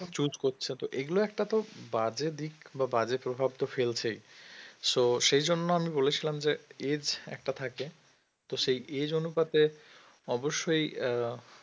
choose করছে তো এগুলো একটা তো বাজে দিক বা বাজে প্রভাব তো ফেলছেই so সেইজন্য আমি বলেছিলাম যে age একটা থাকে তো সেই age অনুপাতে অবশ্যই আহ